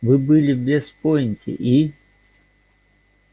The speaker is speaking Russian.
вы были в вест-пойнте и